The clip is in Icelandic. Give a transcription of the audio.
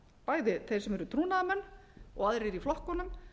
bæði þeir sem eru trúnaðarmenn og aðrir í flokkunum